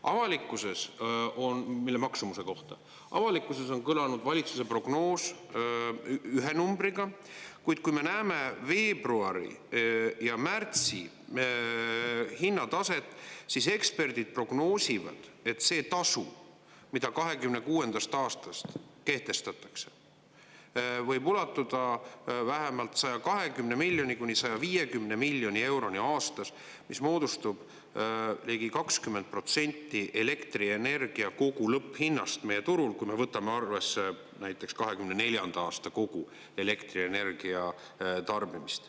Avalikkuses on – mille maksumuse kohta – avalikkuses on kõlanud valitsuse prognoos ühe numbriga, kuid kui me näeme veebruari ja märtsi hinnataset, siis eksperdid prognoosivad, et see tasu, mida 2026. aastast kehtestatakse, võib ulatuda vähemalt 120 miljoni kuni 150 miljoni euroni aastas, mis moodustub ligi 20 protsenti elektrienergia kogu lõpphinnast meie turul, kui me võtame arvesse näiteks 2024. aasta kogu elektrienergia tarbimist.